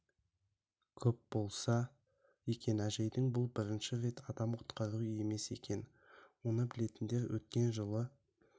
көп болса екен әжейдің бұл бірінші рет адам құтқаруы емес екен оны білетіндер өткен жылы